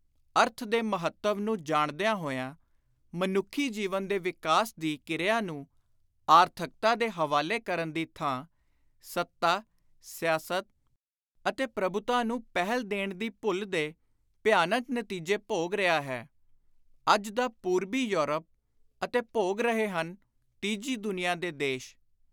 ਅਰਥ ਦੇ ਮਹੱਤਵ ਨੂੰ ਜਾਣਦਿਆਂ ਹੋਇਆਂ, ਮਨੁੱਖੀ ਜੀਵਨ ਦੇ ਵਿਕਾਸ ਦੀ ਕਿਰਿਆ ਨੂੰ ਆਰਥਕਤਾ ਦੇ ਹਵਾਲੇ ਕਰਨ ਦੀ ਥਾਂ ਸੱਤਾ, ਸਿਆਸਤ ਅਤੇ ਪ੍ਰਭੁਤਾ ਨੂੰ ਪਹਿਲ ਦੇਣ ਦੀ ਭੁੱਲ ਦੇ ਭਿਆਨਕ ਨਤੀਜੇ ਭੋਗ ਰਿਹਾ ਹੈ ਅੱਜ ਦਾ ਪੂਰਵੀ ਯੂਰਪ , ਅਤੇ ਭੋਗ ਰਹੇ ਹਨ ਤੀਜੀ ਦੁਨੀਆਂ ਦੇ ਦੇਸ਼।